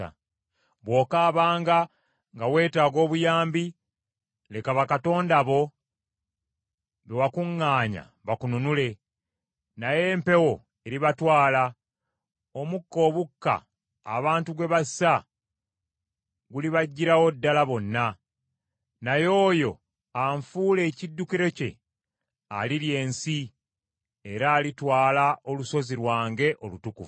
Bw’okaabanga nga weetaaga obuyambi, leka bakatonda bo be wakuŋŋaanya bakununule; naye empewo eribatwala, omukka obukka abantu gwe bassa gulibaggirawo ddala bonna. Naye oyo anfuula ekiddukiro kye alirya ensi era alitwala olusozi lwange olutukuvu.”